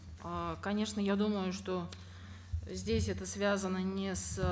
э конечно я думаю что здесь это связано не с